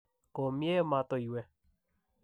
komiee matoiwe''